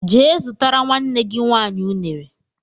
Gee zụtara nwanne gị nwaanyị ụnere!